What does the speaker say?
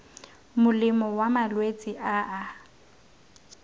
molemo wa malwetse a a